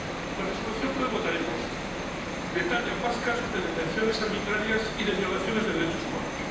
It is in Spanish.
La Resolución que hoy votaremos detalla más casos de detenciones arbitrarias y de violaciones de derechos humanos.